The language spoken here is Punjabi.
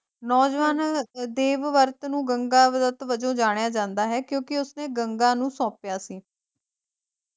ਨੌਜਵਾਨ ਦੇਵਵਰਤ ਨੂੰ ਗੰਗਾਦੱਤ ਵਜੋਂ ਜਾਣਿਆ ਜਾਂਦਾ ਹੈ ਕਿਉਂਕਿ ਉਸ ਨੇ ਗੰਗਾ ਨੂੰ ਸੌਂਪਿਆ ਸੀ,